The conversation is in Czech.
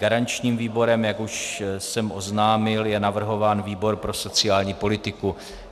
Garančním výborem, jak už jsem oznámil, je navrhován výbor pro sociální politiku.